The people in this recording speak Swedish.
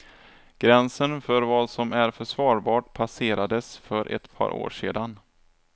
Gränsen för vad som är försvarbart passerades för ett par år sedan.